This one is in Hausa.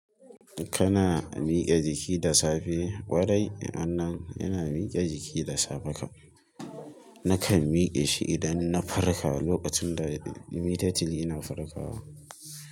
Kana mike jiki da safe? Kwarai, wan nan ina mike jiki da safe kam. Nakan mike shi idan na farka, lokacin da immediately ina farkawa.